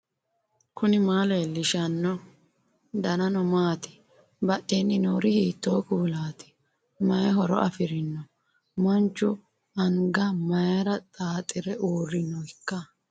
knuni maa leellishanno ? danano maati ? badheenni noori hiitto kuulaati ? mayi horo afirino ? manchu anga mayra xaaxire uurrinoikka